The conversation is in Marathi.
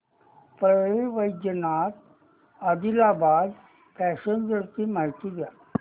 परळी वैजनाथ आदिलाबाद पॅसेंजर ची माहिती द्या